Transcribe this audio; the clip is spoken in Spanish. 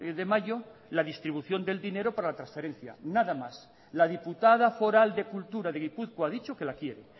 de mayo la distribución del dinero para la transferencia nada más la diputada foral de cultura de gipuzkoa ha dicho que la quiere